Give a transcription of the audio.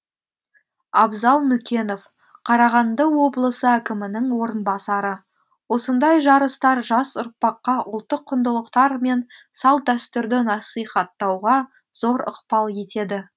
абзал нүкенов қарағанды облысы әкімінің орынбасары осындай жарыстар жас ұрпаққа ұлттық құндылықтар мен салт дәстүрді насихаттауға зор ықпал етеді